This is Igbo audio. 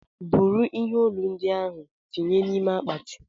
buru ihe ọlụ ndiahu tinye na ime akpati!!